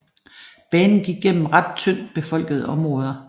Banen gik gennem ret tyndt befolkede områder